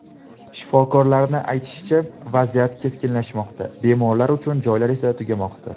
Shifokorlar aytishicha, vaziyat keskinlashmoqda, bemorlar uchun joylar esa tugamoqda.